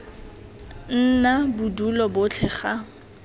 nna bo dule botlhe ga